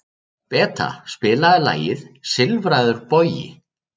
Beta, spilaðu lagið „Silfraður bogi“.